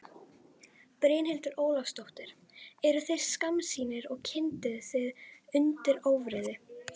Brynhildur Ólafsdóttir: Eruð þið skammsýnir og kyndið þið undir ófriði?